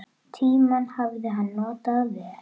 Tímann hafði hann notað vel.